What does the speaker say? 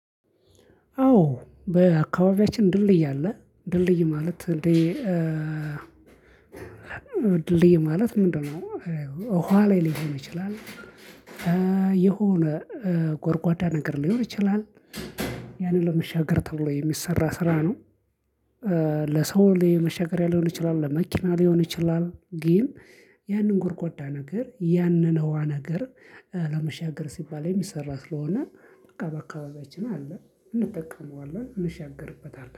አዎ በአካባቢያችን ድልድይ አለ ድልድይ ማለት እንዴ ድልድይ ማለት ምንድነው? ውሃ ላይ ሊሆን ይችላል የሆነ ጎድጓዳ ነገር ሊኖር ይችላል ያንን ለመሻገር ተብሎ የሚሰራ ስራ ነው። ለሰው መሻገሪያ ሊሆን ይችላል ለመኪና ሊሆን ይችላል ግን ያንን ጎድጓዳ ነገር ያንን ዉሃ ነገር ለመሻገር ሲባል የሚሰራ ስለሆነ በቃ በአካባቢያችን አለ። እንጠቀመዋለን እንሻገርበታለን